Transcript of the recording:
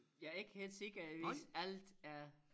Jeg ikke helt sikker hvis alt er